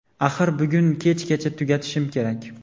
Axir bugun kechgacha tugatishim kerak.